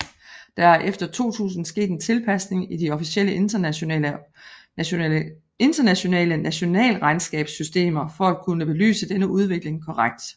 Der er efter 2000 sket en tilpasning i de officielle internationale nationalregnskabssystemer for at kunne belyse denne udvikling korrekt